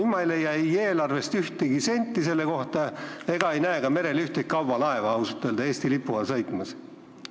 Ma ei leia aga eelarvest ühtegi senti, mis selleks oleks eraldatud, ega ei näe ka merel ühtegi kaubalaeva Eesti lipu all sõitmas.